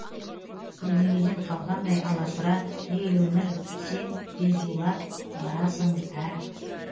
бірдеңеден қалғандай аласұра ей өмір сен дезулап барасың ә